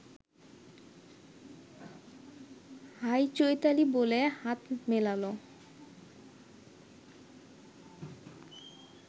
high Chaitali বলে হাত মেলাল